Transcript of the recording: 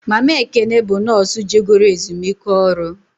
Mama Ekene bụ nọọsụ je goro ezumike ọrụ